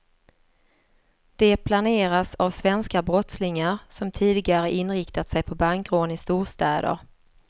De planeras av svenska brottslingar som tidigare inriktat sig på bankrån i storstäder.